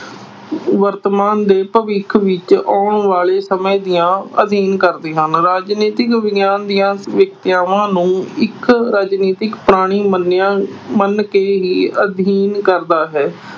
ਵਰਤਮਾਨ ਤੇ ਭਵਿੱਖ ਵਿੱਚ ਆਉਣ ਵਾਲੇ ਸਮੇਂ ਦਾ ਅਧਿਐਨ ਕਰਦੇ ਹਨ। ਰਾਜਨੀਤਿਕ ਵਿਗਿਆਨ ਦੀਆਂ ਨੂੰ ਇੱਕ ਰਾਜਨੀਤਿਕ ਪ੍ਰਾਣੀ ਮੰਨਿਆ, ਮੰਨ ਕੇ ਹੀ ਅਧਿਐਨ ਕਰਦਾ ਹੈ।